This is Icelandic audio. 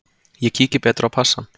Ég kíki betur á passann.